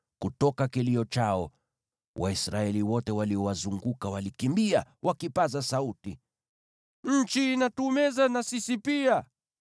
Kutoka kilio chao, Waisraeli wote waliowazunguka walikimbia, wakipaza sauti, “Nchi inatumeza na sisi pia!”